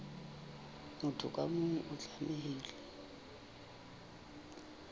motho ka mong o tlamehile